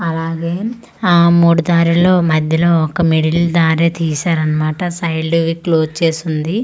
అలాగే ఆ మూడు దారిల్లో మధ్యలో ఒక మిడిల్ దారి తీసారన్మాట సైల్డువి క్లోజ్ చేసుంది.